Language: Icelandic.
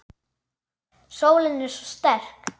Sólin er svo sterk.